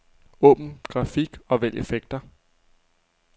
Åbn grafik og vælg effekter.